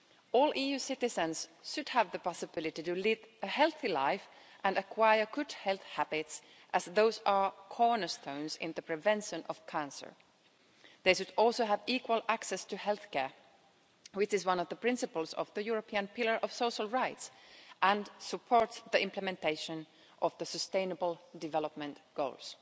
All EU citizens should have the possibility to lead a healthy life and acquire good health habits as those are cornerstones in the prevention of cancer They should also have equal access to healthcare, which is one of the principles of the European Pillar of Social Rights and supports the implementation of the Sustainable Development Goals.